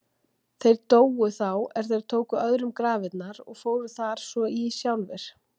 Þeir dóu þá er þeir tóku öðrum grafirnar og fóru þar svo í sjálfir.